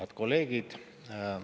Head kolleegid!